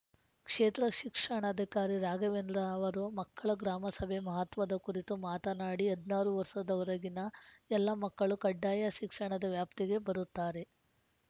ಕ್ಷೇತ್ರ ಶಿಕ್ಷಣಾಧಿಕಾರಿ ರಾಘವೇಂದ್ರ ಅವರು ಮಕ್ಳಳ ಗ್ರಾಮಸಭೆ ಮಹತ್ವದ ಕುರಿತು ಮಾತನಾಡಿ ಹದಿನಾರು ವರ್ಸದವರೆಗಿನ ಎಲ್ಲ ಮಕ್ಕಳು ಕಡ್ಡಾಯ ಸಿಕ್ಷಣದ ವ್ಯಾಪ್ತಿಗೆ ಬರುತ್ತಾರೆ